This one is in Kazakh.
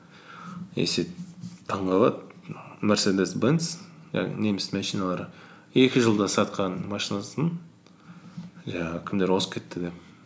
и сөйтіп таңғалады мерседес бенс жаңағы немістің машиналары екі жылда сатқан машинасын жаңағы кімдер озып кетті деп